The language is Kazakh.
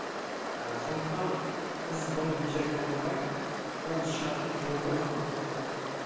ыыы сондықтан біз бұны бей жай қалдырмай бұл шығатын жолды біз анықтауымыз керек